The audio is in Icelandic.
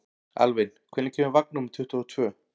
Alvin, hvenær kemur vagn númer tuttugu og tvö?